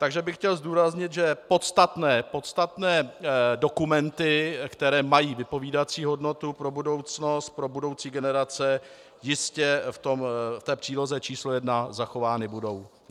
Takže bych chtěl zdůraznit, že podstatné dokumenty, které mají vypovídající hodnotu pro budoucnost, pro budoucí generace, jistě v té příloze číslo 1 zachovány budou.